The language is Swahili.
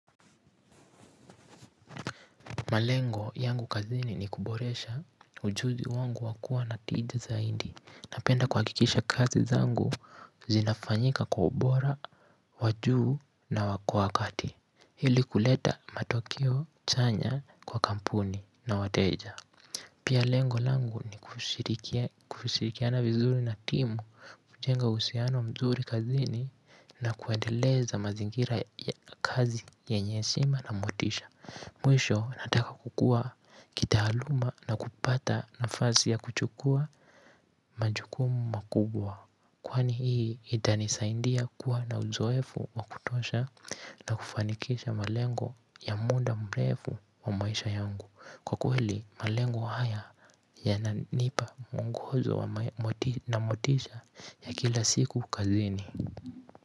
Malengo yangu kazini ni kuboresha ujuzi wangu wakua na tija zaidi. Napenda kuhakikisha kazi zangu zinafanyika kwa ubora, wa juu na kwa wakati. Ili kuleta matokeo chanya kwa kampuni na wateja. Pia lengo langu ni kushirikiana vizuri na timu. Jenga uhusiano mzuri kazini na kuendeleza mazingira kazi yenye heshima na motisha. Mwisho nataka kukua kitaaluma na kupata nafasi ya kuchukua majukumu makubwa kwani hii itanisaidia kua na uzoefu wa kutosha, na kufanikisha malengo ya muda mrefu wa maisha yangu, kwa kweli, malengo haya yananipa mwongozo na motisha ya kila siku kazini.